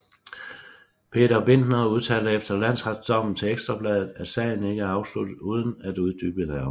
Peter Bindner udtalte efter landsretdommen til Ekstra Bladet at sagen ikke er afsluttet uden at uddybe nærmere